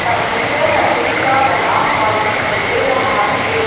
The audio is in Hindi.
फर्नीचर लकड़ी का बना हुआ दिखाई दे रहा है।